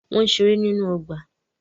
Wọ́n ń ṣeré nínú ọgbà.